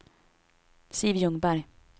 Siv Ljungberg